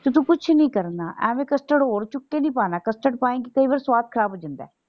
ਤੇ ਤੂੰ ਕੁਛ ਨਹੀਂ ਕਰਨਾ ਐਵੇਂ custard ਹੋਰ ਚੁੱਕ ਕੇ ਨੀ ਪਾਣਾ। custard ਪਾਏਗੀ ਕਈ ਵਾਰੀ ਸਵਾਦ ਖ਼ਰਾਬ ਹੋ ਜਾਂਦਾ ਹੈ।